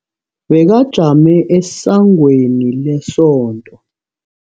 Bekajame esangweni lesonto.